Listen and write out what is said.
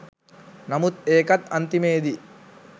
නමුත් ඒකත් අන්තිමේදී